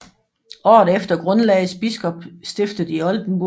Året efter grundlagdes biskopstiftet i Oldenburg